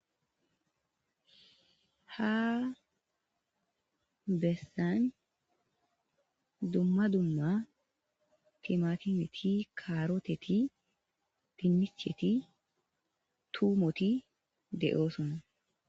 Ha bessan dumma dumma thimaathimethi,kaaroothethi, dinnichethi,thuummothi de7oosona.